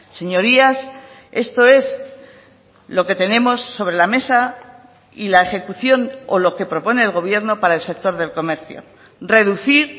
señorías esto es lo que tenemos sobre la mesa y la ejecución o lo que propone el gobierno para el sector del comercio reducir